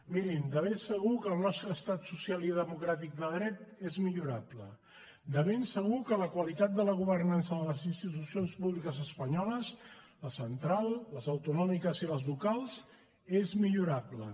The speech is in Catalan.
mirin de ben segur que el nostre estat social i democràtic de dret és millorable de ben segur que la qualitat de la governança de les institucions públiques espanyoles la central les autonòmiques i les locals és millorable